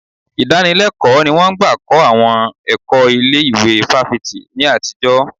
Ìdánilẹ́kọ̀ọ́ ni wọn ń gbà kọ́ àwọn ẹ̀kọ́ ilé ìwé fáfitì ní àtijọ́.